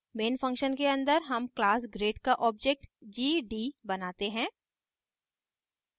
main function के अंदर हम class grade का object gd बनाते हैं